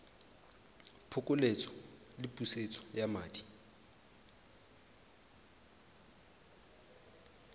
phokoletso le pusetso ya madi